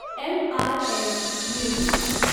MRF limited